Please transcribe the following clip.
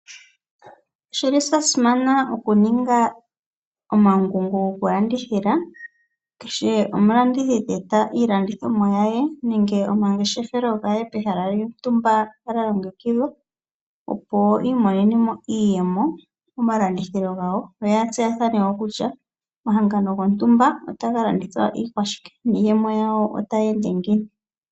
Oshili sha simana oma ngungo goku landithila kehe omulandithi ta eta iilandithomwa nenge omangeshefelo ge pehala lyontumba ta landithile opo I imonemo iiyemo momalandithilo gawo yo yatseyathane woo kutya omahangano gontumba otaga landithwa shike niiyemo yawo otayi ende ngiini.